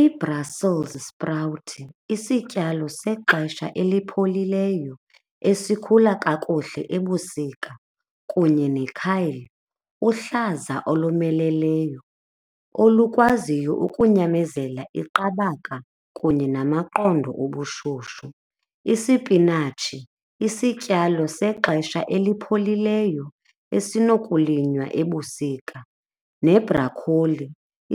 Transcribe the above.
Ibrasolz sprawuthi isityalo sexesha elipholileyo esikhula kakuhle ebusika kunye nekhayli uhlaza olomeleleyo olukwaziyo ukunyamezela iqabaka kunye namaqondo ubushushu. Isipinatshi, isityalo sexesha elipholileyo esinokulinywa ebusika nebhrakholi